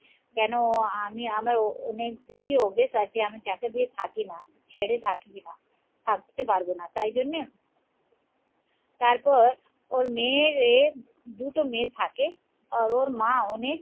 কেন আমি আমার অনেকদিন দিয়ে অভ্যেস আছে আমি যাকে দিয়ে থাকি না ছেড়ে থাকি কিনা থাকতে পারব না তাই জন্যে তারপর ওর মেয়ের দুটো মেয়ে থাকে আর ওর মা অনেক